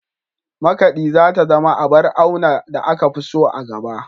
Makaɗi za ta zama abar auna da aka fi so a gaba.